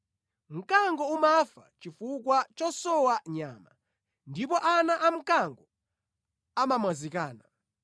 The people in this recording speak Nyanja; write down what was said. Mkango umafa chifukwa chosowa nyama, ndipo ana amkango amamwazikana.